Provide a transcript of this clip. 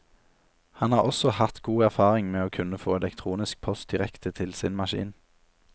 Han har også hatt god erfaring med å kunne få elektronisk post direkte til sin maskin.